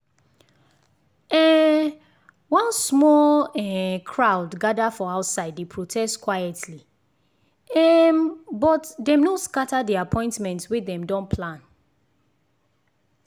um one small um crowd gather for outside dey protest quietly um but dem no scatter the appointments wey dem don plan.